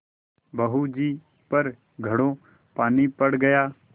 बहू जी पर घड़ों पानी पड़ गया